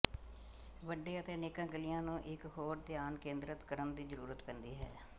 ਵੱਡੇ ਅਤੇ ਅਨੇਕਾਂ ਗਲ਼ਿਆਂ ਨੂੰ ਇੱਕ ਹੋਰ ਧਿਆਨ ਕੇਂਦਰਤ ਕਰਨ ਦੀ ਜ਼ਰੂਰਤ ਪੈਂਦੀ ਹੈ